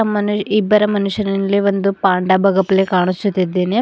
ಮನೆ ಇಬ್ಬರ ಮನುಷ್ಯರಲ್ಲಿ ಒಂದು ಪಾಂಡ ಬಗಪ್ಲೇ ಕಾಣಿಸುತಿದ್ದೇನೆ.